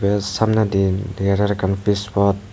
te samnedi degajar ekkan pij pot.